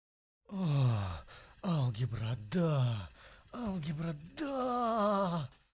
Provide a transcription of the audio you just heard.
алгебра да алгебра да